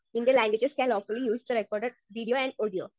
Speaker 1 Indian languages can lawfully use the record video and audio.